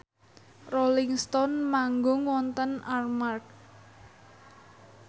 Rolling Stone manggung wonten Armargh